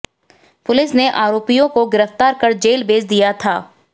police ने आरोपियों को गिरफ्तार कर जेल भेज दिया था